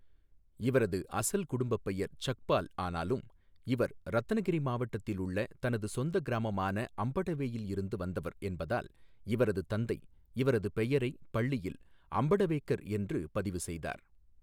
இவரது அசல் குடும்பப்பெயர் சக்பால் ஆனாலும் இவர் ரத்னகிரி மாவட்டத்தில் உள்ள தனது சொந்த கிராமமான அம்படவேயில் இருந்து வந்தவர் என்பதால் இவரது தந்தை இவரது பெயரை பள்ளியில் அம்படவேகர் என்று பதிவு செய்தார்.